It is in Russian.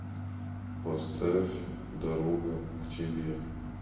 поставь дорога к тебе